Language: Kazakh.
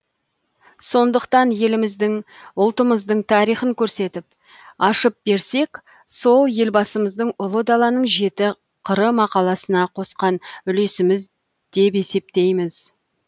сондықтан еліміздің ұлтымыздың тарихын көрсетіп ашып берсек сол елбасымыздың ұлы даланың жеті қыры мақаласына қосқан үлесіміз деп есептейміз